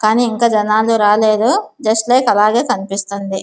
కానీ ఇంకా జనాలు రాలేదు జస్ట్ లైక్ అలాగే కనిపిస్తుంది.